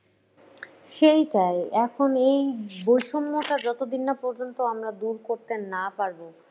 সেইটাই। এখন হচ্ছে এই বৈষম্যটা যতদিন না পর্যন্ত আমরা দূর করতে না পারব